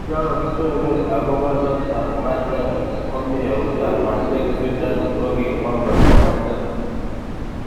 Yokokitepe akopo let ab Bale komi eut ab Madrid, Zidane kokimwa kole mangen.